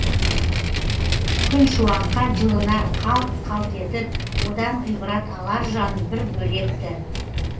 күн шуаққа жылынар қалт қалт етіп одан ғибрат алар жан бір бөлек ті